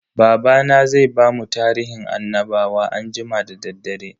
Babana zai bamu tarihin annabawa anjima da daddare.